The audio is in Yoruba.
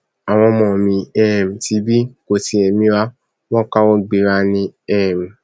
àwọn ọmọ mi um tibí kò tiẹ mira wọn káwọ gbera ni um